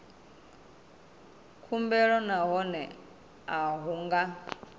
khumbelo nahone a hu nga